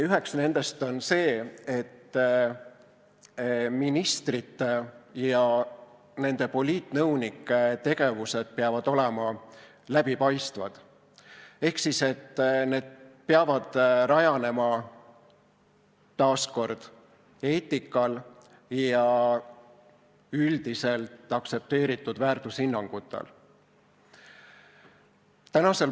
Üks nendest on see, et ministrite ja nende poliitnõunike tegevused peavad olema läbipaistvad ehk need peavad rajanema eetikal ja üldiselt aktsepteeritud väärtushinnangutel.